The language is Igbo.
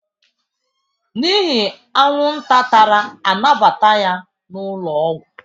N'ihi anwụnta tara a nabata ya n'ụlọọgwụ